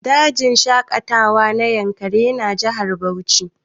Dajin shaƙatawa na Yankari yana Jihar Bauchi